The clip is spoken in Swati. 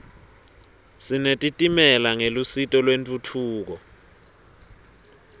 sinetitimela ngelusito lentfutfuko